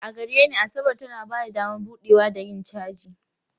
A gare ni, Asabar tana ba da damar buɗewa da yin caji.